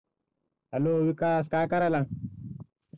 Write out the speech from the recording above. Hello Vikas काय करायलास?